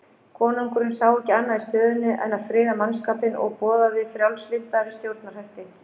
Konungurinn sá ekki annað í stöðunni en að friða mannskapinn og boðaði frjálslyndari stjórnarhætti.